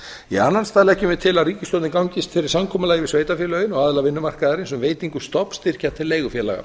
í annan stað leggjum við til að ríkisstjórnin gangist fyrir samkomulagi við sveitarfélögin og aðila vinnumarkaðarins um veitingu stofnstyrkja til leigufélaga